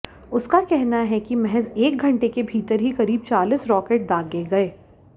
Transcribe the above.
उसका कहना है कि महज एक घंटे के भीतर ही करीब चालीस रॉकेट दागे गए